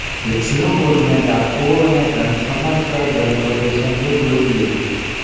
विष्णुपुर में डाकुओं ने धन समझकर ग्रंथों के संदूक लूट लिए